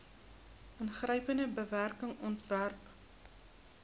ingrypende bewaring ontwerp